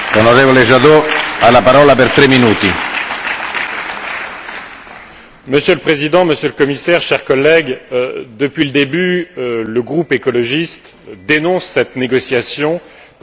Monsieur le Président, Monsieur le Commissaire, chers collègues, depuis le début, le groupe écologiste dénonce cette négociation parce que nous considérons que ce sont des choix de société qui sont en train d'être négociés.